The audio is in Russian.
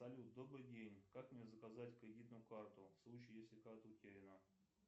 салют добрый день как мне заказать кредитную карту в случае если карта утеряна